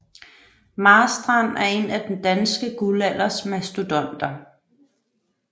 Marstrand er en af den danske guldalders mastodonter